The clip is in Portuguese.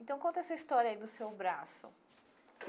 Então, conta essa história aí do seu braço.